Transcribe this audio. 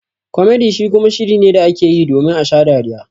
"Comedy" shi kuma shiri ne da ake yi domin a sha dariya.